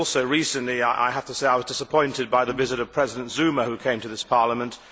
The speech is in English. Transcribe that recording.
Recently I have to say I was disappointed by the visit of President Zuma, who came to this Parliament.